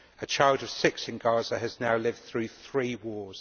A child of six in Gaza has now lived through three wars.